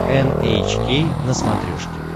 эн эйч кей на смотрешке